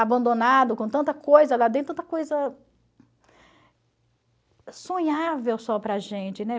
abandonado com tanta coisa lá dentro, tanta coisa sonhável só para a gente, né?